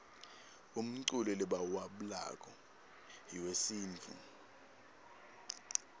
umculo lebauwablako yuesintfu